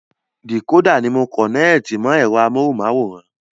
Dìkódà ni a kọ̀nẹ́ẹ̀tì mọ ẹ̀rọ amóhunmáwòrán